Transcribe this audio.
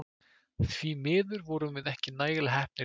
Því miður vorum við ekki nægilega heppnir í dag.